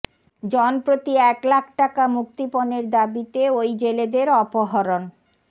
জনপ্রতি এক লাখ টাকা মুক্তিপণের দাবিতে ওই জেলেদের অপহরণ